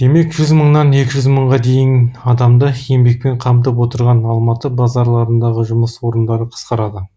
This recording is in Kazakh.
демек жүз мыңнан екі жүз мыңға дейін адамды еңбекпен қамтып отырған алматы базарларындағы жұмыс орындары қысқарады